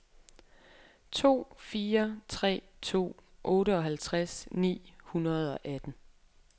to fire tre to otteoghalvtreds ni hundrede og atten